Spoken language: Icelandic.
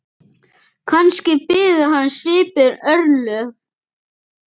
Kannski biðu hans svipuð örlög.